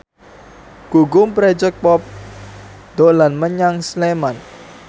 Gugum Project Pop dolan menyang Sleman